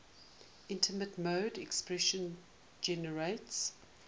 immediate mode expression generates